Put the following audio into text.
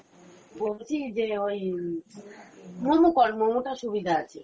বলছি যে ওই, momo কর momo টা সুবিধা আছে